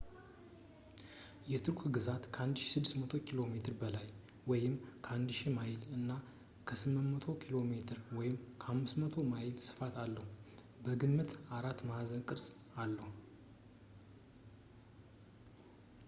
የቱርክ ግዛት ከ 1,600 ኪ.ሜ በላይ 1,000 ማይል በላይ እና 800 ኪ.ሜ 500 ማይል ስፋት አለው ፣ በግምት አራት ማዕዘን ቅርፅ አለው